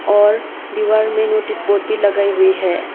और दीवार में नोटिस बोर्ड भी लगाई हुई है।